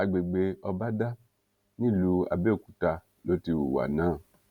àgbègbè ọbadà nílùú àbẹòkúta ló ti hùwà náà